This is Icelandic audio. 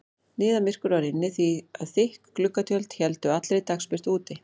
Niðamyrkur var inni því að þykk gluggatjöld héldu allri dagsbirtu úti.